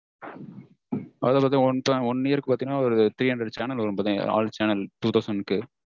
அதெல்லாம் one year க்கு பாத்தீங்கனா ஒரு three hundred channel வரும் all channel two thousand க்கு